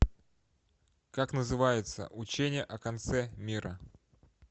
как называется учение о конце мира